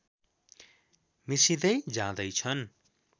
मिसिँदै जाँदैछन्